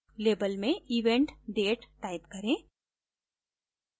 label में event date type करें